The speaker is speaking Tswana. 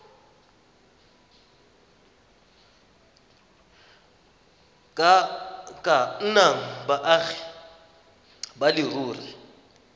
ka nnang baagi ba leruri